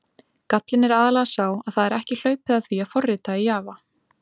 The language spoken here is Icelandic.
Gallinn er aðallega sá að það er ekki hlaupið að því að forrita í Java.